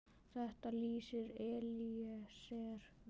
Þetta lýsir Elíeser vel.